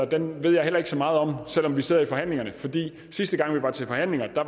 den ved jeg heller ikke så meget om selv om vi sidder i forhandlingerne for sidste gang vi var til forhandlinger var